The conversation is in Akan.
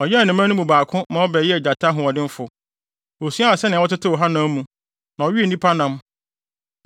Ɔyɛn ne mma no mu baako ma ɔbɛyɛɛ gyata ɔhoɔdenfo. Osuaa sɛnea wɔtetew hanam mu, na ɔwee nnipa nam.